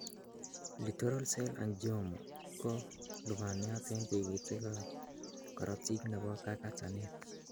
Littoral cell angioma ko lubaniat en tikitikab korotik nebo kakatanet.